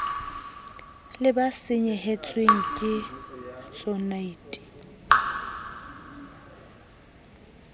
le ba senyehetsweng ke tsonad